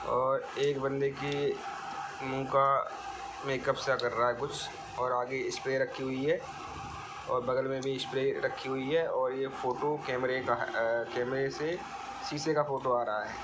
और एक बन्दे की मुँह का मेकअप सा कर रहा है कुछ और आगे स्प्रे रखी हुई है। और बगल में भी स्प्रे रखी हुई है और ये फोटो कैमरे का है ए कैमरे से शीशे का फोटो आ रहा है।